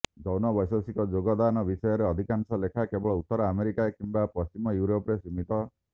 ଯୌନ ବୈଷୟିକ ଯୋଗଦାନ ବିଷୟରେ ଅଧିକାଂଶ ଲେଖା କେବଳ ଉତ୍ତର ଆମେରିକା କିମ୍ବା ପଶ୍ଚିମ ୟୁରୋପରେ ସୀମିତ